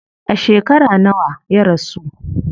A shekara nawa ya rasu?